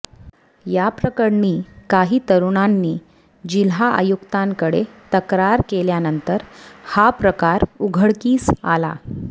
याप्रकरणी काही तरुणांनी जिल्हायुक्तांकडे तक्रार केल्यानंतर हा प्रकार उघडकीस आला